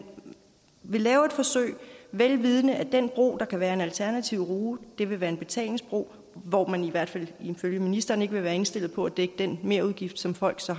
vil lave et forsøg vel vidende at den bro der kan være en alternativ rute vil være en betalingsbro hvor man i hvert fald ifølge ministeren ikke vil være indstillet på at dække den merudgift som folk så